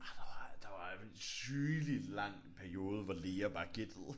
Ej der var der var sygelig lang periode hvor læger bare gættede